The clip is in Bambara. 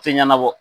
Tɛ ɲɛnabɔ